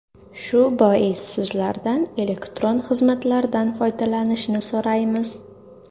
Shu bois sizlardan elektron xizmatlardan foydalanishni so‘raymiz.